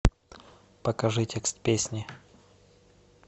покажи текст песни